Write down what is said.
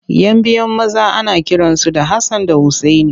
Yan biyu maza ana kiransu da Hassan da Usaini.